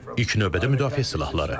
İlk növbədə müdafiə silahları.